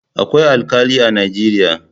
Akwai Alkali a Najeriya.